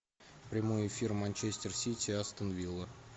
прямой эфир манчестер сити астон вилла